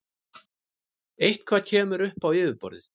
Eitthvað kemur upp á yfirborðið